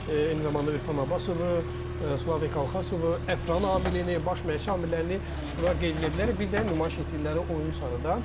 Eyni zamanda Urfan Abbasovu, Slavik Alxasov, Əfran Amilini, baş məşqçi amillərini bura qeyd edə bilərik, bir də nümayiş etdirdiyi oyun sarıdan.